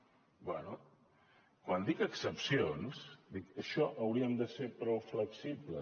bé quan dic excepcions dic això hauríem de ser prou flexibles